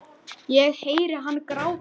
Ég heyri hann gráta.